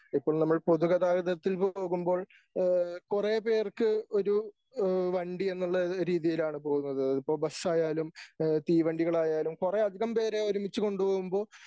ഇപ്പോൾ നമ്മൾ പൊതു ഗതാഗതത്തിൽ പോകുമ്പോൾ ഏഹ് കൊറെ പേർക്ക് ഒരു ഏഹ് വണ്ടി എന്നുള്ളൊരു രീതിയിലാണ് പോകുന്നത് അതിപ്പോ ബസ്സായാലും ഏഹ് തീവണ്ടികളായലും കുറെയധികം പേരെ ഒരുമിച്ചു കൊണ്ടു പോകുമ്പോ